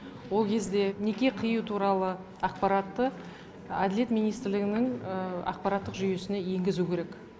ол кезде неке қию туралы ақпаратты әділет министрлігінің ақпараттық жүйесіне енгізу керек